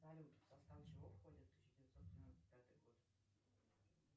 салют в состав чего входит тысяча девятьсот девяносто пятый год